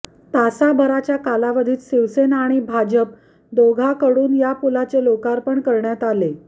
तासाभराच्या कालावधीत शिवसेना आणि भाजप दोघाकडूनही या पुलाचे लोकार्पण करण्यात आले